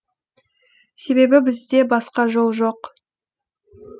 себебі бізде басқа жол жоқ